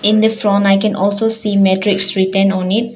In this fron I can also see matrix written on it.